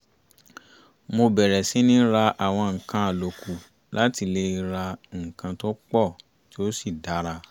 mo bẹ̀rẹ̀ síní ra àwọn nǹkan àlòkù láti lè ra nǹkan tó pọ̀ tí ó sì dára